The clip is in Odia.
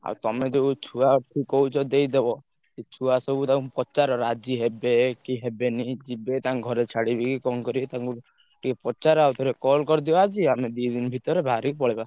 ଆଉ ତମେ ଯୋଉ ଛୁଆ କୁ କହୁଛ ଦେଇଦବ ସେ ଛୁଆ ସବୁ ତାଙ୍କୁ ପଚାର ରାଜି ହେବେ କି ହେବେନି, ଯିବେ ତାଙ୍କ ଘରେ ଛାଡ଼ିବେ କି କଣ କରିବେ ତାଙ୍କୁ ଟିକେ ~ପ ~ଚାର ଆଉ ଥରେ call କରିଦବା ଆଜି ଆମେ ଦି ଦିନି ଭିତରେ ବାହାରିକି ପଳେଇବା।